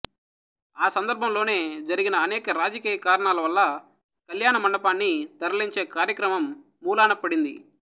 ఆ సందర్భంలోనే జరిగిన అనేక రాజకీయ కారణాల వల్ల కళ్యాణ మండపాన్ని తరలించే కార్యక్రమం మూలన పడింది